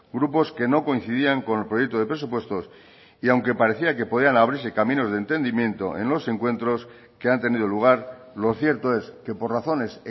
grupos que no coincidían con el proyecto de presupuestos y aunque parecía que podían abrirse caminos de entendimiento en los encuentros que han tenido lugar lo cierto es que por razones